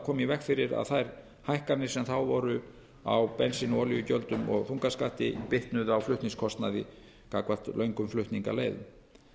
koma í veg fyrir að þær hækkanir sem þá voru á bensín og olíugjöldum og þungaskatti bitnuðu á flutningskostnaði gagnvart löngum flutningaleiðum